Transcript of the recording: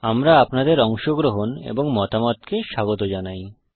আমরা আপনাদের অংশগ্রহণ এবং মতামতকে স্বাগত জানাই